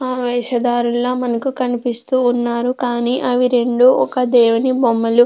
వేషధారులా మనకు కనిపిస్తూ ఉన్నారు కానీ అవి రెండు ఒక దేవుని బొమ్మలు --